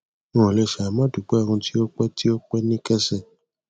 n ò le ṣàì má dúpé ohun tí o pè tí o pè ní kẹsẹ